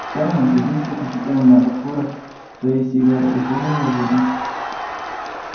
сермак задумчиво посмотрел на окурок своей сигары и швырнул его в урну